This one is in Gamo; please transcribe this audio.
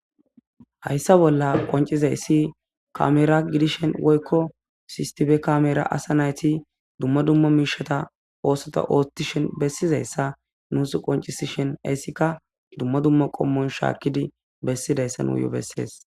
hayssa bolla qoncizaysi kamera gidishen woykko sistife kamera asa nayti duma duma miishata oosota oothtishen bessizayssa nusi qoncisishin heyssika duma duma qommon shaakkidi bessidayssa nuyo beseesi.